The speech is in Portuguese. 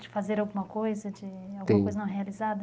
De fazer alguma coisa, de alguma coisa, tem, não realizada?